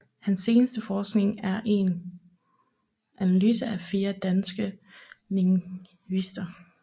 Hans seneste forskning er en analyse af fire danske lingvister